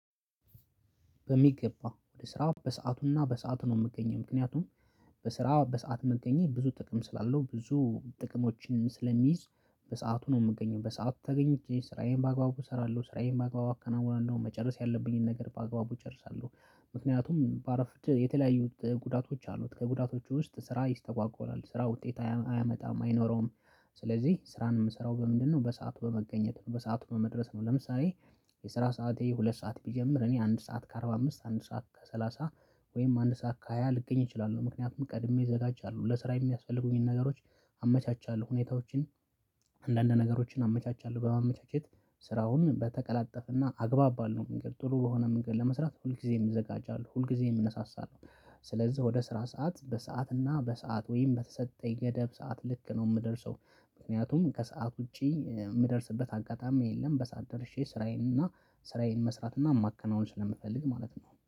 በሚገባ ወደ ስራ በሰአቱና በሰአቱ ነው የምገኘው ምክንያቱም በስራ በሰአት መገኘት ብዙ ጥቅም ስላለው ብዙ ጥቅሞችን ስለሚይዝ በሰአቱ ነው የምገኘው በሰአቱ ተገኝቼ ስራዬን በአግባቡ እሰራለሁ ስራዬን በአግባቡ አከናውናለሁ መጨረስ ያለብኝን ነገር በአግባቡ እጨርሳለሁ። ምክንያቱም በአረፍት የተለያዩት ጉዳቶች አሉት ከጉዳቶቹ ውስጥ ስራ ይስተጓጓል ስራ ውጤት አያመጣም አይኖረውም። ስለዚህ ስራን የምሰራው በምንድነው በሰአቱ በመገኘት ነው በሰአት በመድረስ ነው። ለምሳሌ የስራ ሰዓቴ ሁለት ሰዓት ቢጀምር እኔ አንድ ሰዓት ከአርባ አምስት አንድ ሰዓት ከሰላሳ ወይም አንድ ሰዓት ከሃያ ልገኝ እችላለሁ። ምክንያቱም ቀድሜ እዘጋጃለሁ ለስራ የሚያስፈልጉኝን ነገሮች አመቻቻለሁ ሁኔታዎችን። አንዳንድ ነገሮችን አመቻቻለሁ በማመቻቸት ስራውን በተቀላጠፈና አግባብ ባለው መንገድ ጥሩ በሆነ መንገድ ለመስራት ሁልጊዜም ይዘጋጃል ሁልጊዜም እነሳሳለሁ። ስለዚህ ወደ ስራ ሰዓት በሰአት እና በሰአት ወይም በተሰጠኝ ገደብ ሰዓት ልክ ነው የምደርሰው። ምክንያቱም ከሰአት ውጪ የምደርስበት አጋጣሚ የለም። በሰአት ደርሼ ስራዬን እና ስራዬን መስራት እና ማከናወን ስለምፈልግ ማለት ነው